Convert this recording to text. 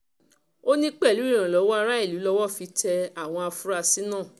ó ní pẹ̀lú ìrànlọ́wọ́ aráàlú lowó fi tẹ àwọn afurasí náà